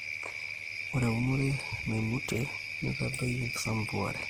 Ore eunore naimutie neitadoyio ekisampuare